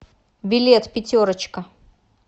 билет пятерочка